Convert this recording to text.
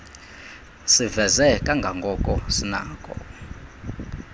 siveze kangako sinakho